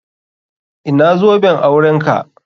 Ina zoben aurenka?